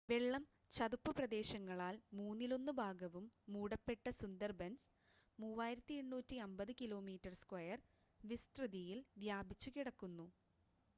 വെള്ളം/ചതുപ്പ് പ്രദേശങ്ങളാൽ മൂന്നിലൊന്ന് ഭാഗവും മൂടപ്പെട്ട സുന്ദർബൻസ് 3,850 km2 വിസ്തൃതിയിൽ വ്യാപിച്ച് കിടക്കുന്നു